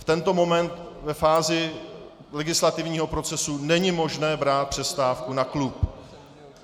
V tento moment, ve fázi legislativního procesu, není možné brát přestávku na klub.